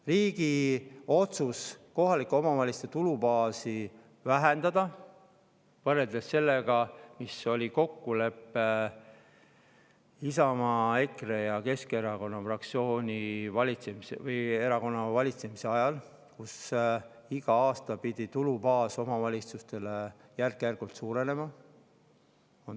Riik on otsustanud kohalike omavalitsuste tulubaasi vähendada võrreldes sellega, milline oli kokkulepe Isamaa, EKRE ja Keskerakonna valitsemise ajal, kui iga aasta pidi omavalitsuste tulubaas järk-järgult suurenema.